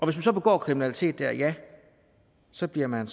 man så begår kriminalitet der ja så bliver man